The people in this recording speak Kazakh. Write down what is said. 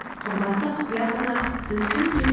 қымбатты құпия қонақ сіз кімсіз